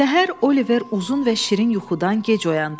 Səhər Oliver uzun və şirin yuxudan gec oyandı.